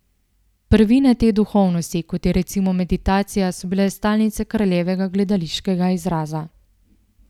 Prvine te duhovnosti, kot je recimo meditacija, so bile stalnica Kraljevega gledališkega izraza.